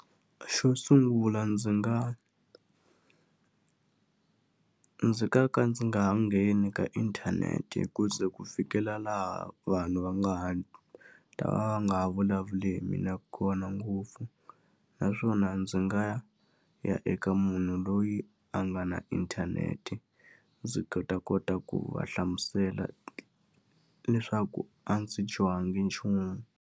Xo sungula ndzi nga ndzi nga ka ndzi nga ha ngheni ka inthanete ku ze ku fikela laha vanhu va nga ha ta va nga ha vulavuli hi mina kona ngopfu. Naswona ndzi nga ya eka munhu loyi a nga na inthanete, ndzi ta kota ku va hlamusela leswaku a ndzi dyohanga nchumu.